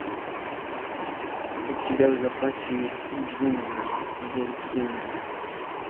у тебя в запасе есть джуманджи зов джунглей